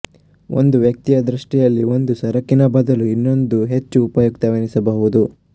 ಒಬ್ಬ ವ್ಯಕ್ತಿಯ ದೃಷ್ಟಿಯಲ್ಲಿ ಒಂದು ಸರಕಿನ ಬದಲು ಇನ್ನೊಂದು ಹೆಚ್ಚು ಉಪಯುಕ್ತವೆನ್ನಬಹುದು